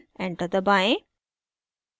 enter दबाएं